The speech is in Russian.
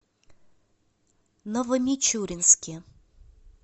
новомичуринске